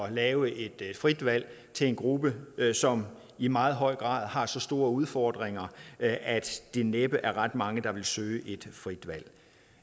at lave et frit valg til en gruppe som i meget høj grad har så store udfordringer at det næppe er ret mange der vil søge et frit valg